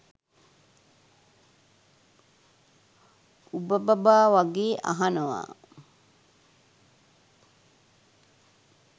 උබ බබා වගේ අහනවා